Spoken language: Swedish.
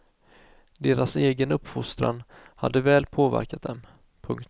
Deras egen uppfostran hade väl påverkat dem. punkt